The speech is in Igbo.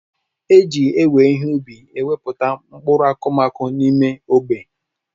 Eji ewe ihe ubi ewepụta mkpụrụ akụmakụ n'ime ogbe.